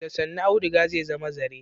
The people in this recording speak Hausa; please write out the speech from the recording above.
Da sannu auduga zai zama zare.